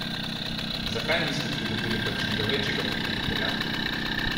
Zakaj niste pridobili kakšnega večjega pokrovitelja?